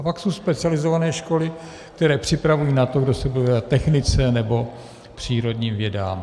A pak jsou specializované školy, které připravují na to, kdo se bude věnovat technice nebo přírodním vědám.